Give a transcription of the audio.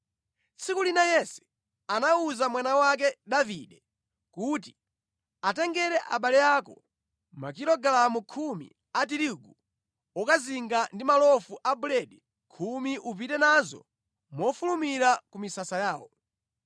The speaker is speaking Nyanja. Tsiku lina Yese anawuza mwana wake Davide kuti, “Atengere abale ako makilogalamu khumi a tirigu wokazinga ndi malofu a buledi khumi ndipo upite nazo mofulumira ku misasa yawo.